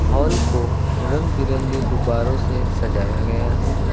Hall को रंग बिरंगे गुब्बारों से सजाया गया है।